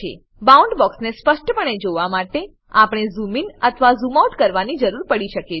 bound box ને સ્પષ્ટપણે જોવા માટે આપણને ઝૂમ ઇન અથવા ઝૂમ આઉટ કરવાની જરૂર પડી શકે છે